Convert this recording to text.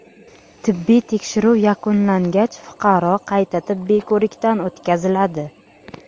Tibbiy tekshiruv yakunlangach, fuqaro qayta tibbiy ko‘rikdan o‘tkaziladi.